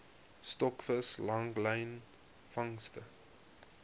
stokvis langlyn vangste